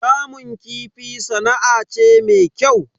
Kamun kifi sana'a ce me kyau.